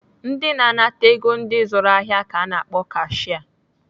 Ndị na-anata ego ndị zụrụ ahịa ka ana akpọ kashia.